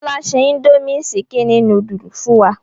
Fọlá ṣe indomie ṣíkínì núdúlù fún wa.